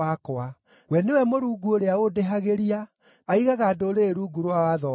We nĩwe Mũrungu ũrĩa ũndĩhagĩria, aigaga ndũrĩrĩ rungu rwa watho wakwa,